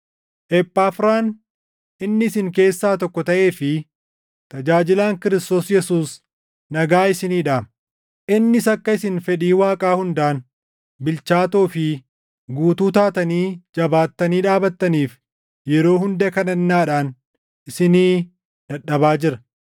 Ephaafiraan inni isin keessaa tokko taʼee fi tajaajilaan Kiristoos Yesuus nagaa isinii dhaama. Innis akka isin fedhii Waaqaa hundaan bilchaatoo fi guutuu taatanii jabaattanii dhaabattaniif yeroo hunda kadhannaadhaan isinii dadhabaa jira.